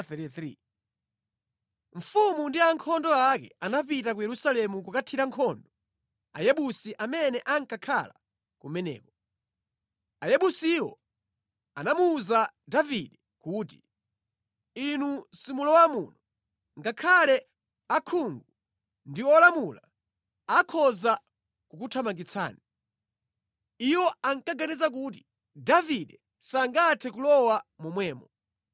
Mfumu ndi ankhondo ake anapita ku Yerusalemu kukathira nkhondo Ayebusi amene ankakhala kumeneko. Ayebusiwo anamuwuza Davide kuti, “Inu simulowa muno. Ngakhale osaona ndi olumala akhoza kukuthamangitsani.” Iwo ankaganiza kuti, “Davide sangathe kulowa momwemo.”